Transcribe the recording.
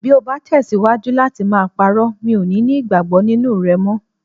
. Bí o bá tẹ̀síwájú láti máa parọ́, mi ò ní ní ìgbàgbọ́ nínú rẹ mọ́.